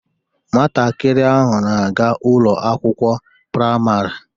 Nwatakịrị ahụ na-aga Ụlọ akwụkwọ praịmarị